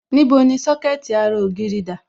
Níbo ni Sọ́kẹ̀tì ara ògiri dà?